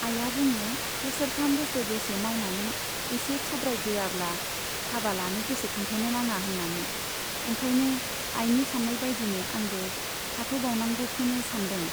आइया बुङो बोसोरथाम बोसोरब्रैसो मावनानै एसे थुब्रायग्रोआब्ला हाबा लानो गोसो खांथ'नो नाङा होन्नानै ओंखायनो आइनि सान्नायबाइदिनो आंबो थाथ' बावनांगौखौनो सानदों।